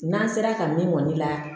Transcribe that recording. N'an sera ka min kɔni la